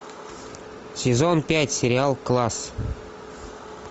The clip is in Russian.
сезон пять сериал класс